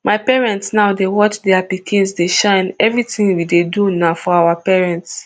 my parents now dey watch dia pikins dey shine evritin we dey do na for our parents